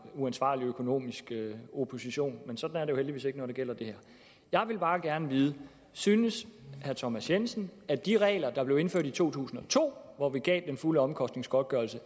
uansvarlig økonomisk opposition men sådan er det jo heldigvis ikke når det gælder det her jeg vil bare gerne vide synes herre thomas jensen at de regler der blev indført i to tusind og to hvor vi gav den fulde omkostningsgodtgørelse